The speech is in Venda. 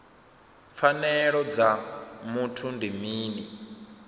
pfanelo dza muthu ndi mini